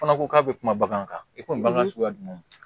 Fana ko k'a bɛ kuma bagan kan i ko bagan suguya jumɛn